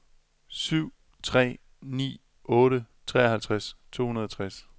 syv tre ni otte treoghalvtreds to hundrede og tres